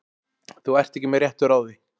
Þú ert ekki með réttu ráði.